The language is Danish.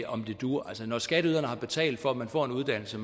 om det duer altså når skatteyderne har betalt for at man får en uddannelse